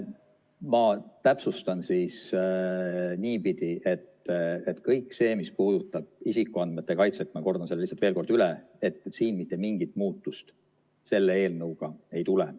Ma täpsustan siis niipidi, mis puudutab isikuandmete kaitset – ma kordan selle veel kord üle –, siis siin mitte mingit muutust selle eelnõuga ei tule.